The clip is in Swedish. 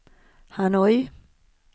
Hanoi